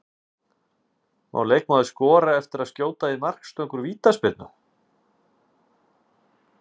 Má leikmaður skora eftir að skjóta í markstöng úr vítaspyrnu?